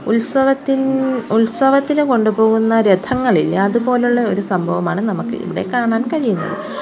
ഉത്സവത്തിൻ ഉത്സവത്തിന് കൊണ്ടുപോവുന്ന രഥങ്ങളില്ലേ അതുപോലുള്ള ഒരു സംഭവമാണ് നമുക്ക് ഇവിടെ കാണാൻ കഴിയുന്നത്.